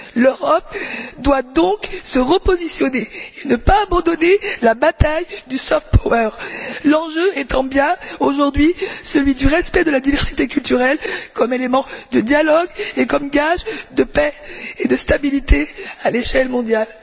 L'Europe doit donc se repositionner et ne pas abandonner la bataille du soft power l'enjeu étant bien aujourd'hui celui du respect de la diversité culturelle comme élément de dialogue et comme gage de paix et de stabilité à l'échelle mondiale.